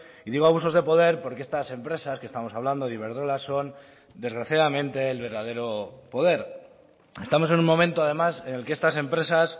y digo abusos de poder porque estas empresas que estamos hablando de iberdrola son desgraciadamente el verdadero poder estamos en un momento además en el que estas empresas